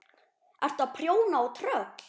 Ertu að prjóna á tröll?